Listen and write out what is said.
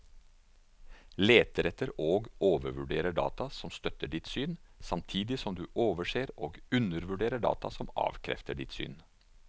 Leter etter og overvurderer data som støtter ditt syn, samtidig som du overser og undervurderer data som avkrefter ditt syn.